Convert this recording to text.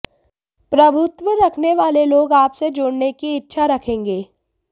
प्रभुत्व रखने वाले लोग आपसे जुड़ने की इच्छा रखेंगे